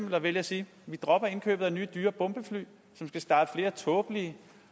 man vælge at sige vi dropper indkøbet af nye dyre bombefly som skal starte flere tåbelige